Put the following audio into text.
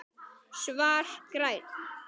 Svar: Grænn